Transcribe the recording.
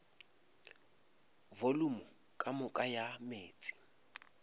volumo ka moka ya meetse